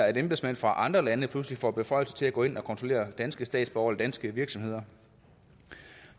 at embedsmænd fra andre lande pludselig får beføjelser til at gå ind og kontrollere danske statsborgere eller danske virksomheder